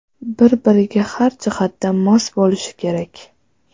Bir-biriga har jihatdan mos bo‘lishi kerak.